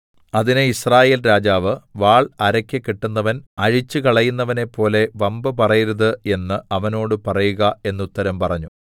അതിന് യിസ്രായേൽ രാജാവ് വാൾ അരയ്ക്ക് കെട്ടുന്നവൻ അഴിച്ചുകളയുന്നവനെപ്പോലെ വമ്പുപറയരുത് എന്ന് അവനോട് പറയുക എന്ന് ഉത്തരം പറഞ്ഞു